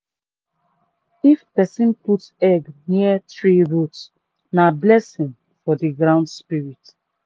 if person put egg near tree root na blessing for the ground spirit.